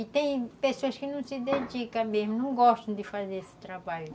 E tem pessoas que não se dedicam mesmo, não gostam de fazer esse trabalho.